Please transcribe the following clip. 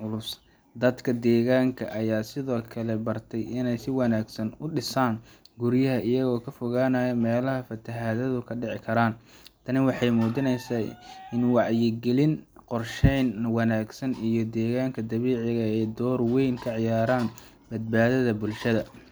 culus. Dadka deegaanka ayaa sidoo kale bartay inay si wanaagsan u dhisaan guryaha, iyagoo ka fogaanaya meelaha fatahaaduhu ka dhici karaan. Tani waxay muujinaysaa in wacyigelin, qorsheyn wanaagsan, iyo deegaanka dabiiciga ah ay door weyn ka ciyaaraan badbaadinta bulshada.